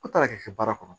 Aw taara k'i kɛ baara kɔnɔ